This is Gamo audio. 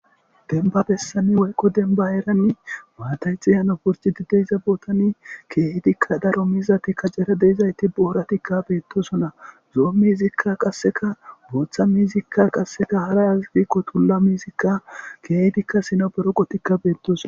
Denba bessani woyqo denba eranni maatayxi yano purci di deyza bootani keetikka daro miizati kacera deizayti booratikka beettosona zo'o mizikka qasseka booththa mizikka qasseka hara azigikko tulla mizikka keeetikka sinaberoqotikka beettos.